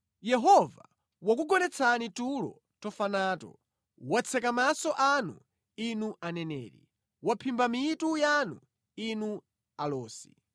Yehova wakugonetsani tulo tofa nato. Watseka maso anu, inu aneneri; waphimba mitu yanu, inu alosi.